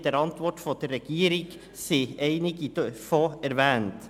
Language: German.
In der Antwort der Regierung werden einige davon erwähnt.